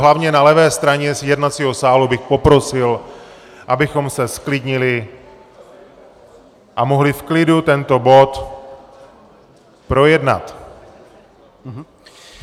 Hlavně na levé straně jednacího sálu bych poprosil, abychom se zklidnili a mohli v klidu tento bod projednat!